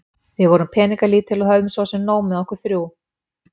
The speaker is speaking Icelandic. Við vorum peningalítil og höfðum svo sem nóg með okkur þrjú.